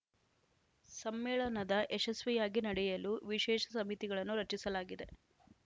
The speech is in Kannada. ಸಮ್ಮೇಳನದ ಯಶಸ್ವಿಯಾಗಿ ನಡೆಯಲು ವಿಶೇಷ ಸಮಿತಿಗಳನ್ನು ರಚಿಸಲಾಗಿದೆ